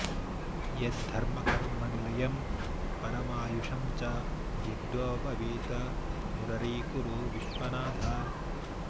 यद् धर्मकर्म निलयं परमायुषं च यज्ञोपवीत मुररीकुरु विश्वनाथ